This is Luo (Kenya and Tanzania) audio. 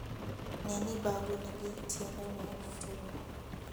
Ne ni bagu nigi tiendene motegno.